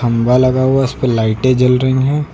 खम्बा लगा हुआ उसपे लाइटें जल रही हैं।